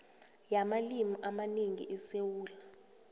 yamalimi amanengi esewula